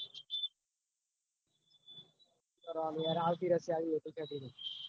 કરવાનું આવતી